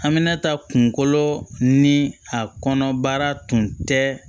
An bɛna taa kunkolo ni a kɔnɔ baara tun tɛ